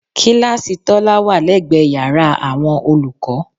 Kíláàsì Tọ́lá wà lẹ́gbẹ̀ẹ́ yàrá àwọn olùkọ́